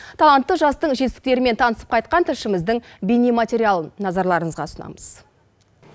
талантты жастың жетістіктерімен танысып қайтқан тілшіміздің бейнематериалын назарларыңызға ұсынамыз